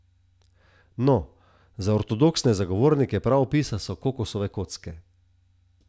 No, za ortodoksne zagovornike pravopisa so kokosove kocke.